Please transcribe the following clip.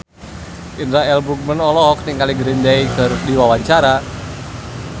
Indra L. Bruggman olohok ningali Green Day keur diwawancara